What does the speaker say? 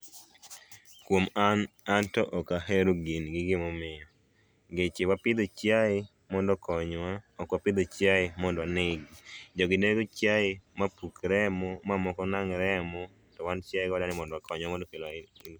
Kuom an, anto ok ahero gini gi gimomiyo, ngeche wapidho chiaye mondo okonyowa, ok wapidho chiay emondo onegi. Jogi nego chiaye mapuk remo mamoko nang' remo to wan chiaye wadwaro ni mondo wakony